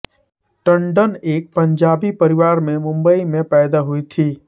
टंडन एक पंजाबी परिवार में मुंबई में पैदा हुई थी